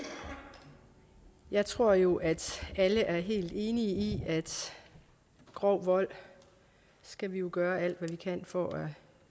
jeg tror jo at alle er helt enige i at grov vold skal vi gøre alt hvad vi kan for at